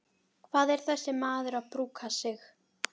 Hvað er þessi maður að brúka sig?